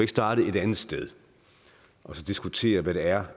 starte et andet sted og diskutere hvad det er